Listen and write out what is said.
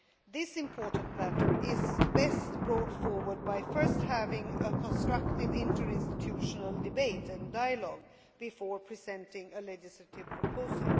This important matter is best brought forward by first having a constructive interinstitutional debate and dialogue before presenting a legislative proposal.